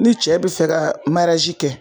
Ni cɛ bi fɛ ka kɛ